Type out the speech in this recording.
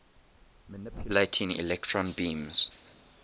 manipulating electron beams